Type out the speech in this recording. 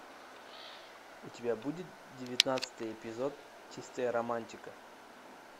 у тебя будет девятнадцатый эпизод чистая романтика